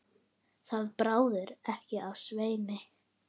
Það bráði ekki af Sveini.